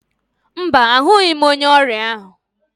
Mba, ahụghị m onye ọrịa ahụ